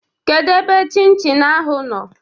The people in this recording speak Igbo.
Kedu ebe chin chin ahụ dị?